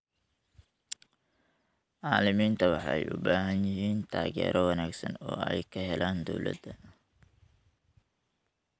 Macalimiinta waxay u baahan yihiin taageero wanaagsan oo ay ka helaan dowladda.